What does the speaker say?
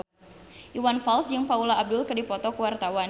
Iwan Fals jeung Paula Abdul keur dipoto ku wartawan